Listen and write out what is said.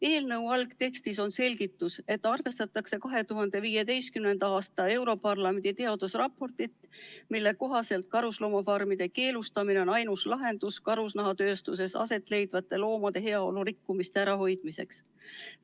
Eelnõu algtekstis on selgitus, et arvestatakse 2015. aasta europarlamendi teadusraportit, mille kohaselt karusloomafarmide keelustamine on ainus lahendus karusnahatööstuses aset leidva loomade heaolu rikkumise ärahoidmiseks.